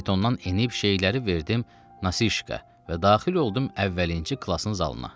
Faytondan enib şeyləri verdim Nasişka və daxil oldum əvvəlinci klasın zalına.